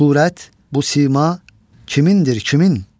Bu surət, bu sima kimindir, kimin?